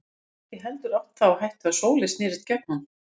Hann gat ekki heldur átt það á hættu að Sóley snerist gegn honum.